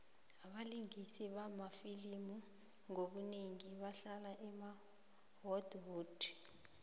abalingisi bamafilimu ngobunengi bahlala e holly wood